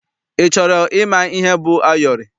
Ị chọrọ ịma ihe bụ ayọrị?